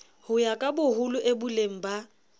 ho ya kaboholo ieboleng ba